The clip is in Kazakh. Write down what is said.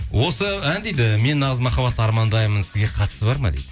осы ән дейді мен нағыз махабатты армандаймын сізге қатысы бар ма дейді